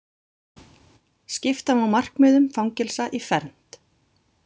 Skipta má markmiðum fangelsa í fernt.